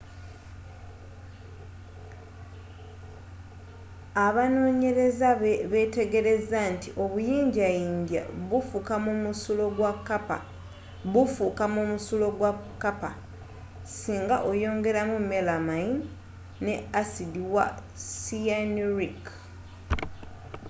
abanonyeleza betegelezza nti obuyinjjayinjja bufukamu mu musulo gwa kappa singa oyongelamu melamayini ne asiddi wa cyanuric